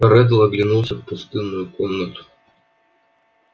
реддл оглядел пустынную комнату